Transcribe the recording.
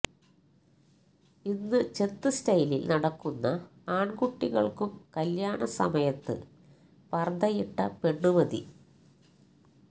ഇന്ന് ചെത്ത് സ്റ്റൈലില് നടക്കുന്ന ആണ്കുട്ടികള്ക്കും കല്യാണസമയത്ത് പര്ദ്ദയിട്ട പെണ്ണ് മതി